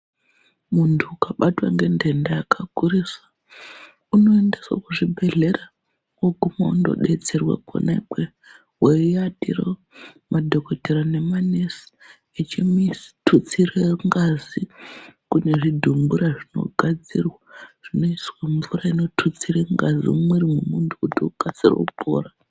Muntu ukabatwa ngendenda yakakurisa unoendeswe kuzvibhedhlera oguma ondo betserwa kona ikweyo weiatireyo ,madhokodheya nema nesi echimututsire ngazi, kunezvidhumbura zvinogadzirwa zvinoiswa mvura inotutsire ngazi mumwiri mwemuntu kuti ukasire kupora.